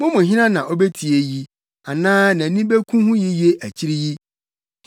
Mo mu hena na obetie eyi anaa nʼani beku ho yiye akyiri yi?